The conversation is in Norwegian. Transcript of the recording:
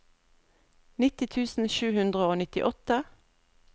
nitti tusen sju hundre og nittiåtte